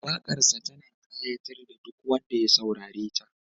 Waƙarsa tana ƙayatar da duk wanda ya saurareta